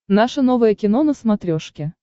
наше новое кино на смотрешке